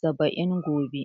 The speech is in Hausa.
saba'in gobe